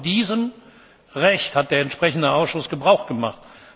Genau von diesem Recht hat der entsprechende Ausschuss Gebrauch gemacht.